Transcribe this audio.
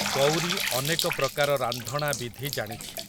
ଗଉରୀ ଅନେକ ପ୍ରକାର ରାନ୍ଧଣା ବିଧି ଜାଣିଛି।